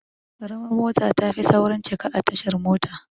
Ƙaramar mota tafi saurin cika a tashar mota